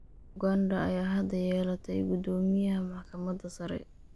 Uganda ayaa hadda yeelatay guddoomiyaha maxkamadda sare.